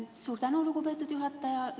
Suur tänu, lugupeetud juhataja!